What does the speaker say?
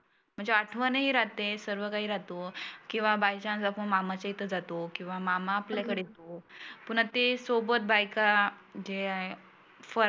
म्हणजे आठवन ही राहते सर्व काही राहतो. किंवा बाय चांस आपण मामा च्या इथं जातो. किंवा मामा आपल्या कडंं येतो. पुन्हा ते सोबत बायका जे आहे फराळ